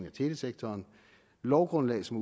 af telesektoren lovgrundlag som